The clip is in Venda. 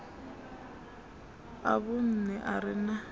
a vhunṋe a re na